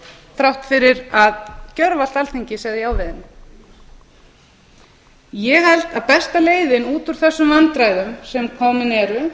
þrátt fyrir að gjörvallt alþingi segði já við henni ég held að besta leiðin út úr þessum vandræðum sem komin eru út